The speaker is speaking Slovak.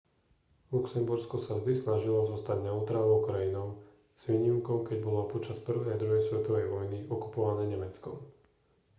luxembursko sa vždy snažilo zostať neutrálnou krajinou s výnimkou keď bolo počas 1. a 2. svetovej vojny okupované nemeckom